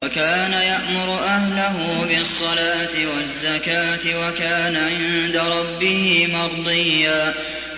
وَكَانَ يَأْمُرُ أَهْلَهُ بِالصَّلَاةِ وَالزَّكَاةِ وَكَانَ عِندَ رَبِّهِ مَرْضِيًّا